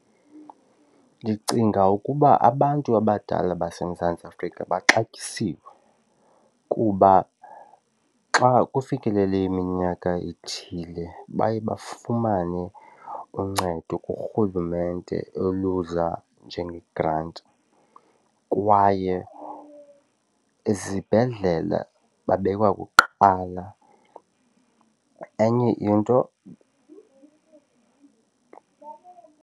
Ndicinga ukuba abantu abadala baseMzantsi Afrika baxabisiwe kuba xa kufikelele iminyaka ethile baye bafumane uncedo kuRhulumente oluza njengegranti kwaye ezibhedlela babekwa kuqala. Enye into.